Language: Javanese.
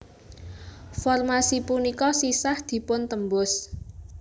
Formasi punika sisah dipun tembus